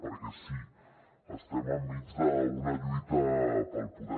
perquè sí estem enmig d’una lluita pel poder